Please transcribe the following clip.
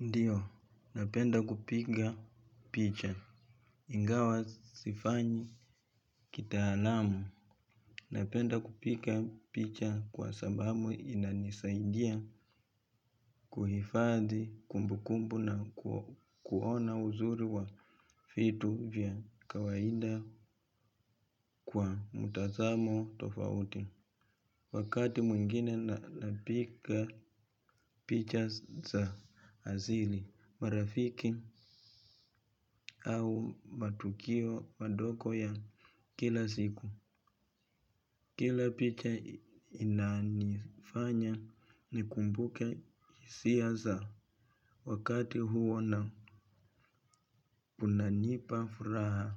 Ndiyo, napenda kupiga picha, ingawa sifanyi kitaalamu, napenda kupiga picha kwa sababu inanisaidia kuhifadhi kumbukumbu na kuona uzuri wa vitu vya kawaida kwa mutazamo tofauti. Wakati mwingine napiga picha za asili marafiki au matukio madogo ya kila siku kila picha inanifanya nikumbuke hisia za wakati huo na unanipa furaha.